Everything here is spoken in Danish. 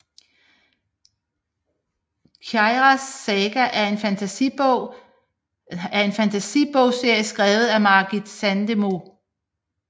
Kiaras saga er en fantasi bogserie skrevet af Margit Sandemo